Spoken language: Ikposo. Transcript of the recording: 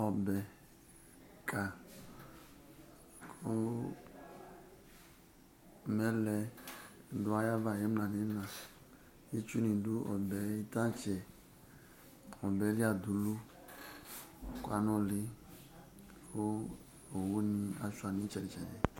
Ɔbɛka kʋ mɛlɛ dʋ ayava ɩmla nʋ ɩɣɩna Itsunɩ dʋ ɔbɛ yɛ tantse Ɔbɛ li adulu kʋ anʋlɩ kʋ owunɩ asʋɩa nʋ ɩtsɛdɩ-tsɛdɩ